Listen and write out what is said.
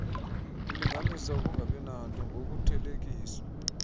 ulinganisa ukungabinanto ngokuthelekiswa